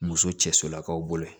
Muso cɛ solakaw bolo